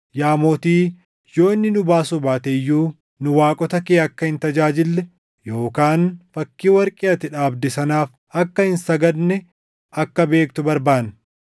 Yaa Mootii, yoo inni nu baasuu baate iyyuu nu waaqota kee akka hin tajaajille yookaan fakkii warqee ati dhaabde sanaaf akka hin sagadne akka beektu barbaanna.”